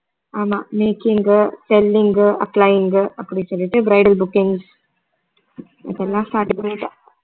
ஆமா making, selling, applying அப்படி சொல்லிட்டு bridal bookings அப்படிலாம்